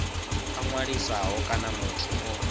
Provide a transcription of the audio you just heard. a ṅwalisaho kana muthu o